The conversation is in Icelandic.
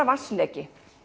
vatnsleki